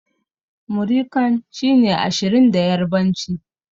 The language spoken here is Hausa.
Muri kan' shine Ashirin da yarbanci.